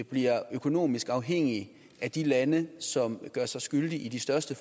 bliver økonomisk afhængig af de lande som gør sig skyldig i de største